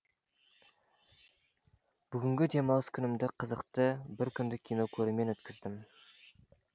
бүгінгі демалыс күнімді қызықты бір күндік кино көрумен өткіздім